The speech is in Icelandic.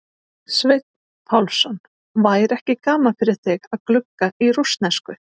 Sveinn Pálsson: væri ekki gaman fyrir þig að glugga í rússnesku?